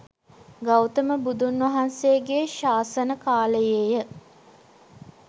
ගෞතම බුදුන් වහන්සේගේ ශාසන කාලයේය.